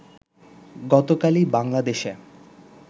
গতকালই বাংলাদেশে